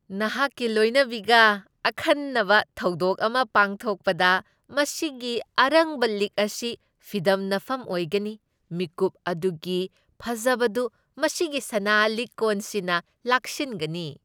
ꯅꯍꯥꯛꯀꯤ ꯂꯣꯏꯅꯕꯤꯒ ꯑꯈꯟꯅꯕ ꯊꯧꯗꯣꯛ ꯑꯃ ꯄꯥꯡꯊꯣꯛꯄꯗ ꯃꯁꯤꯒꯤ ꯑꯔꯪꯕ ꯂꯤꯛ ꯑꯁꯤ ꯐꯤꯗꯝꯅꯐꯝ ꯑꯣꯏꯒꯅꯤ, ꯃꯤꯀꯨꯞ ꯑꯗꯨꯒꯤ ꯐꯖꯕꯗꯨ ꯃꯁꯤꯒꯤ ꯁꯅꯥ ꯂꯤꯛꯀꯣꯟꯁꯤꯅ ꯂꯥꯛꯁꯤꯟꯒꯅꯤ ꯫